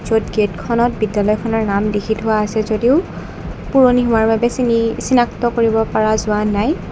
য'ত গেটখনত বিদ্যালয়খনৰ নাম লিখি থোৱা আছে যদিও পুৰণি হোৱাৰ বাবে চিনি-চিনাক্ত কৰিব পাৰা যোৱা নাই।